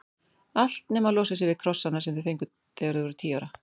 Allt nema að losa sig við krossana sem þau fengu þegar þau voru tíu ára.